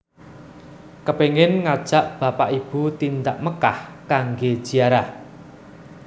Kepengen ngajak bapak ibu tindak Mekkah kangge ziarah